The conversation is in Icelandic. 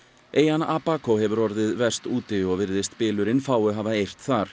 eyjan Abaco hefur orðið verst úti og virðist fáu hafa eirt þar